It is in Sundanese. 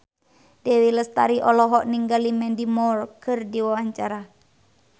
Dewi Lestari olohok ningali Mandy Moore keur diwawancara